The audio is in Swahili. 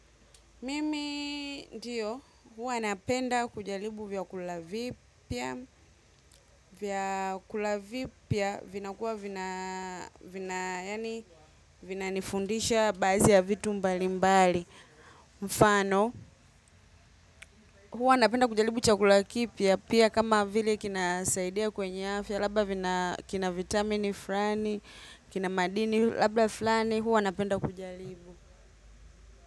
Mimi ndiyo, huwa napenda kujaribu vyakula vipya, vyakula vipia vinakuwa nifundisha baadhi ya vitu mbali mbali mfano. Huwa napenda kujaribu chakula kipya, pia kama vile kinasaidia kwenye afya, labda kina vitamini fulani, kina maadini, labda fulani huwa napenda kujaribu.